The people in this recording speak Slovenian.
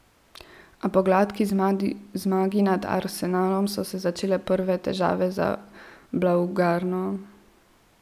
A po gladki zmagi nad Arsenalom so se začele prve težave za blaugrano.